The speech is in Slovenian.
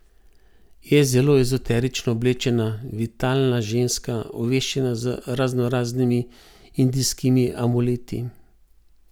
Je zelo ezoterično oblečena, vitalna ženska, ovešena z raznoraznimi indijskimi amuleti.